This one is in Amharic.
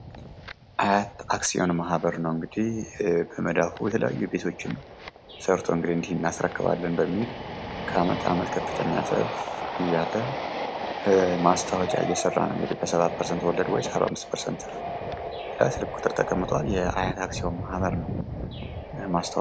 አያት አክሲዮን ማህበር ነው እግዲህ ከመዳፉ የተለያዩ ቤቶችን ሰርቶ ነው። እንዲህ እናስረክባለን በሚል ከአመት አመት ከፍተኛ ትርፍ እያለ ማስታወቂያ እየሰራ ነው። በሰባት ፐርሰንት ወለድ ሰባአምስት ፐርሰንት ትርፍ። ስልክ ቁጥር ተቀምጧል። የሀያት አክሲዮን ማህበር ነው።